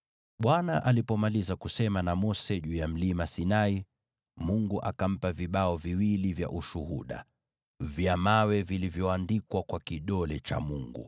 Bwana alipomaliza kusema na Mose juu ya Mlima Sinai, Mungu akampa vile vibao viwili vya Ushuhuda, vibao vya mawe vilivyoandikwa kwa kidole cha Mungu.